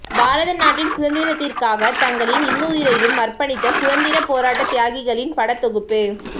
பாரத நாட்டின் சுதந்திரத்திற்காகத் தங்களின் இன்னுயிரையும் அர்பணித்த சுதந்திரப் போராட்ட தியாகிகளின் படத்தொகுப்பு